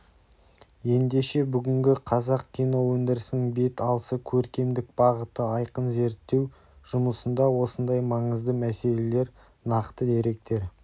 ендеше бүгінгі қазақ киноөндірісінің бет алысы көркемдік бағыты айқын зерттеу жұмысында осындай маңызды мәселелер нақты деректер